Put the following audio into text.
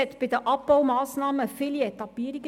Unter den Abbaumassnahmen sind viele Etappierungen.